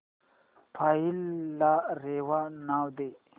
file ला रेवा नाव दे